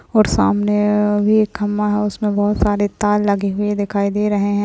और सामने भी एक खम्बा है उसमें बहुत सारे तार लगे हुए दिखाई दे रहे हैं।